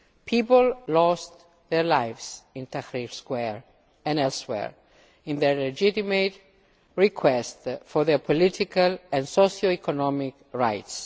People lost their lives in Tahrir Square and elsewhere in their legitimate request for their political and socio economic rights.